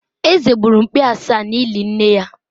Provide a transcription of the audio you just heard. Eze gburu mkpi asaa n'ili nne ya